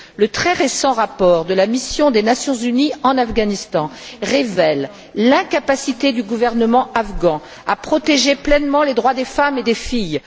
Le très récent rapport de la mission des Nations unies en Afghanistan révèle l'incapacité du gouvernement afghan à protéger pleinement les droits des femmes et des filles.